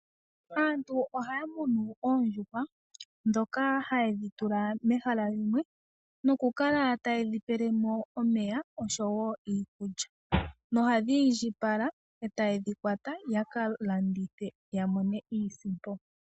Aantu ohaya munu oondjushwa dhoka haye thi tula mehala limwe nokukala tayedhi pelemo omeya osho wo iikulya, nohadhi indjipala etayedhi kwata yaka landithe yamone iisimpo.